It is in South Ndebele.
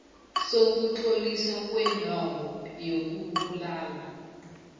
sokutloliswa kwendawo yokubulala